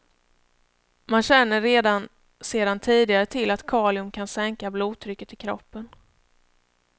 Man känner redan sedan tidigare till att kalium kan sänka blodtrycket i kroppen.